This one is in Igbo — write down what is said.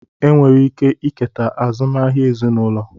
Enwere ike eketa azụmahịa ezinụlọ